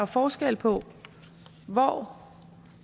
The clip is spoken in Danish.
forskel på hvor